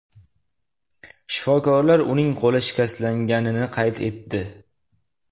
Shifokorlar uning qo‘li shikastlanganini qayd etdi.